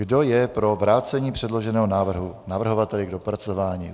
Kdo je pro vrácení předloženého návrhu navrhovateli k dopracování?